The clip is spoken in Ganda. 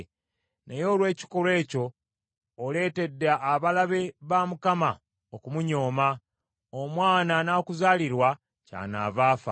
Naye olw’ekikolwa ekyo, oleetedde abalabe ba Mukama okumunyooma, omwana anaakuzaalirwa kyanaava afa.”